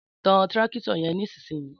Tàn tírákítọ̀ yẹn nísìsiyìí!